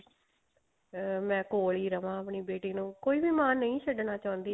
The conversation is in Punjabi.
ਮੈਂ ਕੋਲ ਹੀ ਰਵਾਂ ਬੇਟੀ ਨੂੰ ਕੋਈ ਵੀ ਮਾਂ ਨਹੀ ਛੱਡਣਾ ਚਾਹੁੰਦੀ